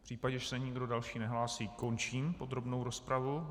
V případě, že se nikdo další nehlásí, končím podrobnou rozpravu.